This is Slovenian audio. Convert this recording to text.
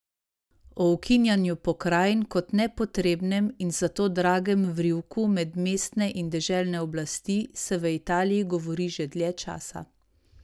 O ukinjanju pokrajin kot nepotrebnem in zato dragem vrivku med mestne in deželne oblasti se v Italiji govori že dlje časa.